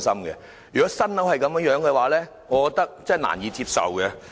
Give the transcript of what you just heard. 然而，對於新建樓宇如此的質素，我難以接受。